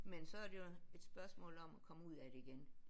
Men så er det jo et spørgsmål om at komme ud af det igen